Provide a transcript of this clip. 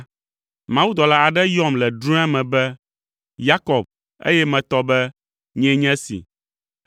Mawudɔla aɖe yɔm le drɔ̃ea me be, ‘Yakob,’ eye metɔ be, ‘Nyee nye esi.’